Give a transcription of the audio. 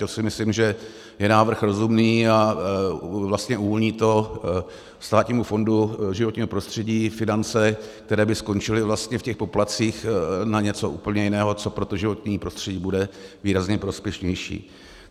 To si myslím, že je návrh rozumný a vlastně uvolní to Státnímu fondu životního prostředí finance, které by skončily vlastně v těch poplatcích, na něco úplně jiného, co pro to životní prostředí bude výrazně prospěšnější.